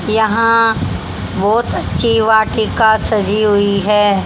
यहां बहुत अच्छी वाटिका सजी हुई है।